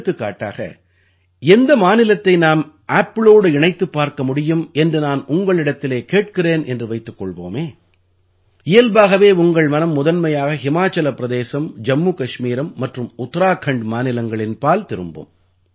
எடுத்துக்காட்டாக எந்த மாநிலத்தை நாம் ஆப்பிளோடு இணைத்துப் பார்க்க முடியும் என்று நான் உங்களிடத்திலே கேட்கிறேன் என்று வைத்துக் கொள்வோமே இயல்பாகவே உங்கள் மனம் முதன்மையாக ஹிமாச்சல பிரதேசம் ஜம்மு கஷ்மீரம் மற்றும் உத்தராக்கண்ட் மாநிலங்களின் பால் திரும்பும்